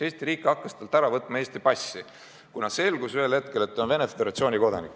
Eesti riik hakkas talt Eesti passi ära võtma, kuna ühel hetkel selgus, et ta on Venemaa Föderatsiooni kodanik.